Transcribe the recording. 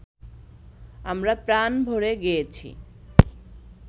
আমরা প্রাণভরে গেয়েছি